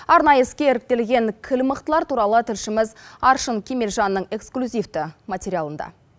арнайы іске іріктелген кіл мықтылар туралы тілшіміз аршын кемелжанның эксклюзивті материалында